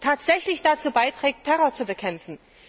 tatsächlich dazu beiträgt, Terror zu bekämpfen.